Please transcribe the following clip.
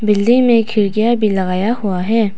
Building में खिड़कियां भी लगाया हुआ है।